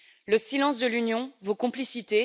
Le silence de l'Union vaut complicité